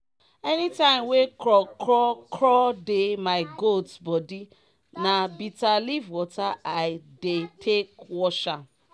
anytime wey kro kro kro dey my goat bodi na bita leaf water i dey take wash am.